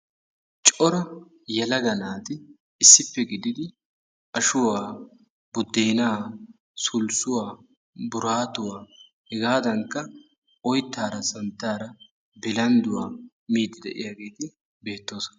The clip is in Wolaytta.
Cora yelaga naati issippe gididi ashuwa, buddeenaa, sulssuwa, buraatuwa hegaadankka oyttaara santtaara bilandduwa miiddi de"iyageeti beettoosona.